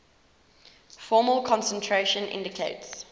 formal concentration indicates